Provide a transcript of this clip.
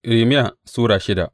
Irmiya Sura shida